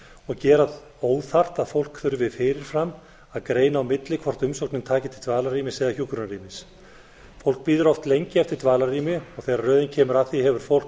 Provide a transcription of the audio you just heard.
og gera óþarft að fólk þurfi fyrir fram að greina á milli hvort umsóknin taki til dvalarrýmis eða hjúkrunarrými fólk bíður oft lengi eftir dvalarrými og þegar röðin kemur að því hefur fólk